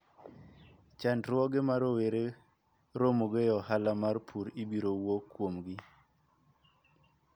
Chandruoge ma rowere romogo e ohala mar pur ibiro wuo kuomgi.